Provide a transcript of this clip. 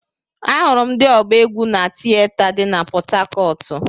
Ahụrụ m ndị ọgba egwu na tieta dị na pọthakọọtu.